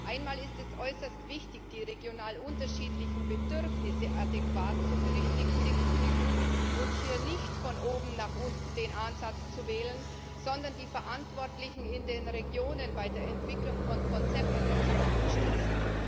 Einmal ist es äußerst wichtig, die regional unterschiedlichen Bedürfnisse adäquat zu berücksichtigen und hier nicht den Ansatz von oben nach unten zu wählen, sondern die Verantwortlichen in den Regionen bei der Entwicklung von Konzepten zu unterstützen.